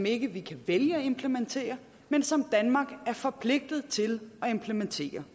ikke kan vælge at implementere men som danmark er forpligtet til at implementere